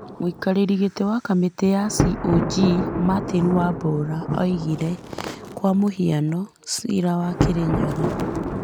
Mũikarĩri gĩtĩ wa kamĩtĩ ya CoG Martin Wambora oigire, Kwa mũhiano, ciirainĩ wa Kĩrĩnyaga,